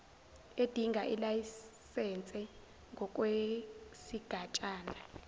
edinga ilayisense ngokwesigatshana